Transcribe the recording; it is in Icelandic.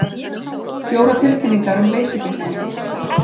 Fjórar tilkynningar um leysigeisla